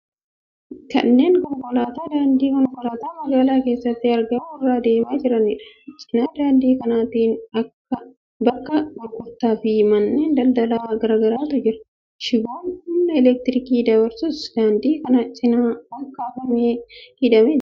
Kunneen konkolaataa daandii konkolaataa magaalaa keessatti argamu irra deemaa jiraniidha. Cina daandii kanaatiin bakka gurgurtaa fi manneen daldalaa garaa garaatu jira. Shiboon humna elektirikii dabarsus daandii kana cinaan ol kaafamee hidhamee jira.